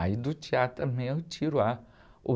Aí do teatro também eu tiro ah, uh